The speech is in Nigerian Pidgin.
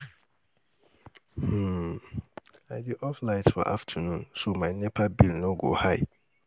um I dey off light for afternoon so my NEPA bill no go high.